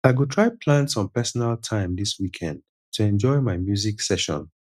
i go try plan some personal time this weekend to enjoy my music session